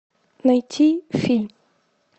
найти фильм